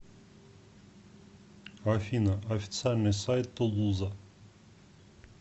афина официальный сайт тулуза